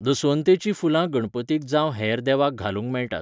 दसवंतेचीं फुलां गणपतीक जावं हेर देवाक घालूंक मेळटात.